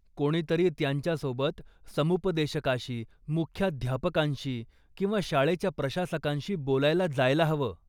कोणीतरी त्यांच्यासोबत समुपदेशकाशी, मुख्याध्यापकांशी किंवा शाळेच्या प्रशासकांशी बोलायला जायला हवं.